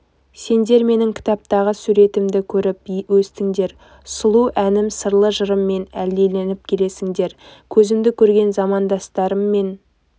сендер менің кітаптағы суретімді көріп өстіңдер сұлу әнім сырлы жырыммен әлдиленіп келесіңдер көзімді көрген замандастарым мен